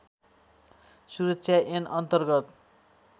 सुरक्षा ऐन अन्तर्गत